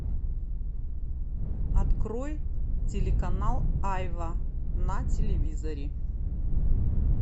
открой телеканал айва на телевизоре